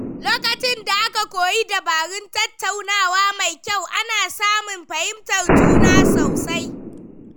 Lokacin da aka koyi dabarun tattaunawa mai kyau, ana samun fahimtar juna sosai.